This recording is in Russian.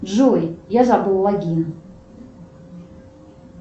джой я забыл логин